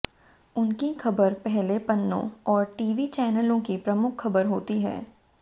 उनकी खबर पहले पन्नों और टीवी चैनलों की प्रमुख खबर होती है